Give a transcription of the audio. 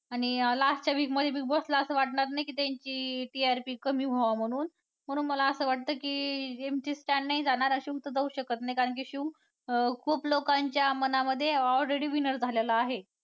आणि last च्या week मध्ये Big Boss ला असं वाटणार नाही की त्यांची TRP कमी व्हावं म्हणून, म्हणून मला असं वाटतं की MC. Stan नाही जाणार, शिव तर जाऊ शकत नाही कारण की शिव अं खूप लोकांच्या मनामध्ये already winner झालेला आहे.